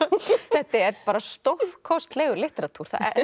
þetta er stórkostlegur litteratúr